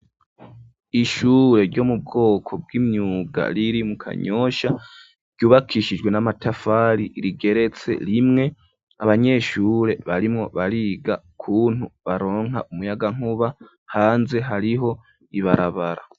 Ishure ryo mu bwoko bw'imyuga riri mu Kanyosha ryubakishijwe n'amatafari rigeretse rimwe, abanyeshure barimwo bariga kuntu baronka umuyagankuba, hanze hariho ibarabara.